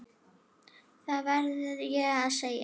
Það verð ég að segja.